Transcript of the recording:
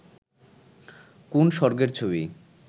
কোন্ স্বর্গের ছবি